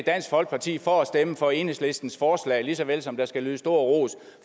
dansk folkeparti for at stemme for enhedslistens forslag lige så vel som der skal lyde stor ros